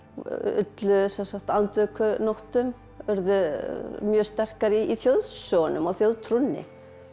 ollu andvökunóttum urðu mjög sterkar í þjóðsögunum og þjóðtrúnni